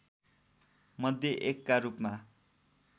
मध्ये एकका रूपमा